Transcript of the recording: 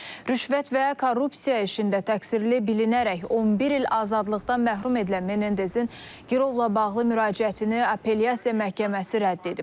Rüşvət və korrupsiya işində təqsirli bilinərək 11 il azadlıqdan məhrum edilən Mendezin girovla bağlı müraciətini apelyasiya məhkəməsi rədd edib.